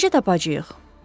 Onu necə tapacağıq?